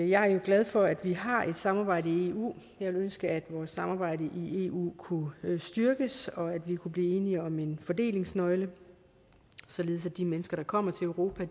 jeg er jo glad for at vi har et samarbejde i eu jeg ville ønske at vores samarbejde i eu kunne styrkes og at vi kunne blive enige om en fordelingsnøgle således at de mennesker der kommer til europa